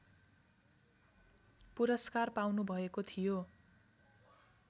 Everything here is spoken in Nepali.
पुरस्कार पाउनुभएको थियो